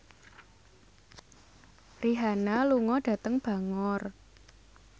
Rihanna lunga dhateng Bangor